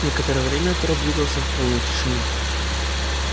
некоторое время отряд двигался в полной тишине